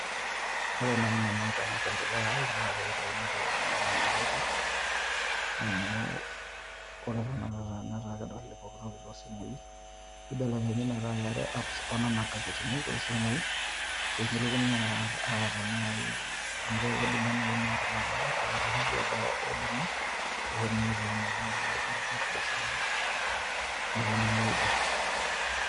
Ore naaji nanu te mapendeleo ai naa pee eitayuni nkasetini metaa meetai pii, amu ore tenakata netaa kedoli poki toki too simui. Nibelekenyi metaa keetae app oo nena nkasetini too simui. Pee mitokini aata naaji, amu kedung`oo naaji ina olmanyara aa loshi kiek oodung`i neponuni aitayunyie tenakata ntokitin naijo nkardasini naaponuni aiger.